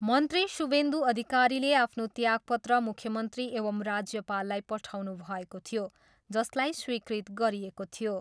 मन्त्री शुभेन्दु अधिकारीले आफ्नो त्यागपत्र मुख्यमन्त्री एवं राज्यपाललाई पठाउनुभएको थियो, जसलाई स्वीकृत गरिएको थियो।